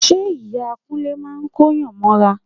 Ṣe Ìyá Kúnlé máa kóyàn mọ́ra?